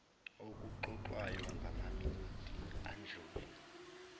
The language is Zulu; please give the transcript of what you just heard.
okuxoxwayo ngamaminithi adlule